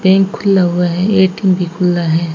Bank खुला हुआ है ए_टी_एम भी खुला है।